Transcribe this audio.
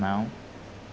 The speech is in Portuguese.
Não.